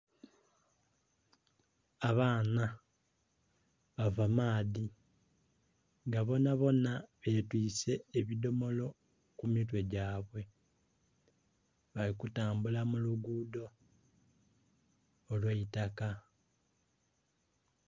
Abaana bava maadhi nga bonabona betwiise ebidomolo ku mitwe gyabwe. Bali kutambula mu lugudho olw'eitaka.